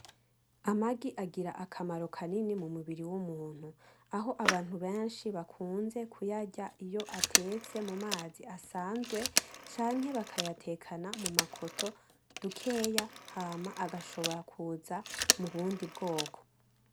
Amagi agira akamaro kanini mumubiri wumuntu, aho abantu benshi bakunze kuyarya iyo atetse mumazi bisanzwe canke bakayatekana mumakoto dukeya hama agashobora kuza mubundi bwoko .